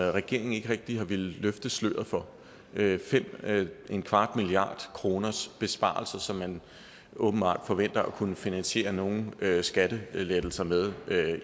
regeringen ikke rigtig har villet løfte sløret for fem milliard kroner i besparelser som man åbenbart forventer at kunne finansiere nogle skattelettelser med